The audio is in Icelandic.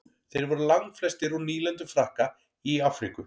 þeir voru langflestir úr nýlendum frakka í afríku